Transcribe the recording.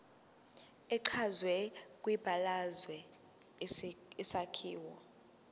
echazwe kwibalazwe isakhiwo